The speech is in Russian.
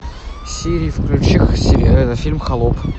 сири включи фильм холоп